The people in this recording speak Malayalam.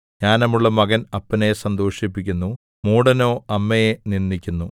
ജ്ഞാനമുള്ള മകൻ അപ്പനെ സന്തോഷിപ്പിക്കുന്നു മൂഢനോ അമ്മയെ നിന്ദിക്കുന്നു